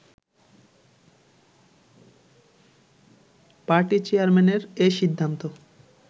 party চেয়ারম্যানের এ সিদ্ধান্ত